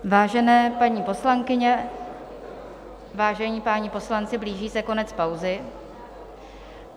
Vážené paní poslankyně, vážení páni poslanci, blíží se konec pauzy.